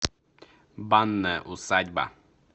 банная усадьба